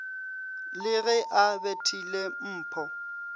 le ge a bethile mpho